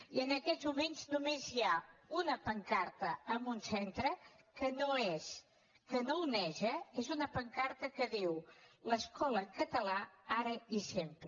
i en aquests moments només hi ha una pancarta en un centre que no oneja és una pancarta que diu l’escola en català ara i sempre